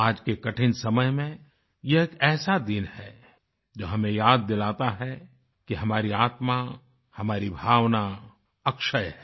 आज के कठिन समय में यह एक ऐसा दिन है जो हमें याद दिलाता है कि हमारी आत्मा हमारी भावना अक्षय है